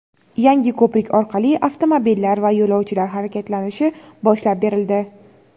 yangi ko‘prik orqali avtomobillar va yo‘lovchilar harakatlanishi boshlab berildi.